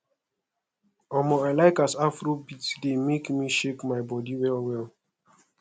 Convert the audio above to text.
omo i like as afrobeat dey make me shake my body well well